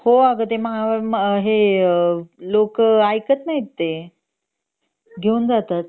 हो अग ते महा हे अग लोक ऐकत नाहीत ते घेऊन जातात